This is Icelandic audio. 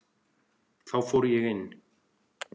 Þá fór ég inn.